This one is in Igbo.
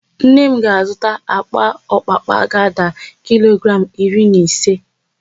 Nne m ga-azụta àkpà ọpapa ga-ada kilogramụ iri na ise.